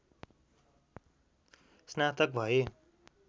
स्नातक भए